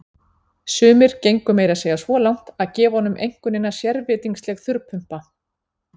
Sumir gengu meira að segja svo langt að gefa honum einkunnina sérvitringsleg þurrpumpa.